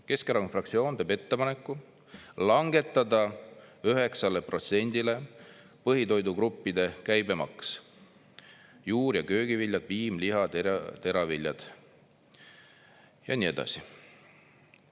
Keskerakonna fraktsioon teeb ette ettepaneku langetada 9%-le põhitoidugruppide käibemaks, juur- ja köögiviljad, piim, liha, teraviljad ja nii edasi.